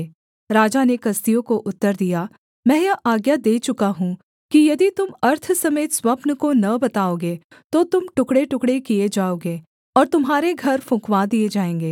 राजा ने कसदियों को उत्तर दिया मैं यह आज्ञा दे चुका हूँ कि यदि तुम अर्थ समेत स्वप्न को न बताओगे तो तुम टुकड़ेटुकड़े किए जाओगे और तुम्हारे घर फुँकवा दिए जाएँगे